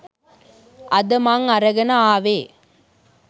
අද මං අරගෙන ආවේ